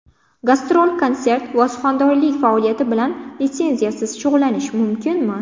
Gastrol-konsert va suxandonlik faoliyati bilan litsenziyasiz shug‘ullanish mumkinmi?.